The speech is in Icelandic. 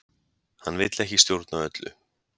Hann vill ekki stjórna öllu